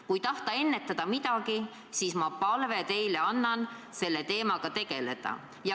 Kui tahate mingit probleemi ennetada, siis ma annangi teile edasi palve selle teemaga tegeleda.